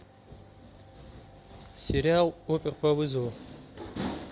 сериал опер по вызову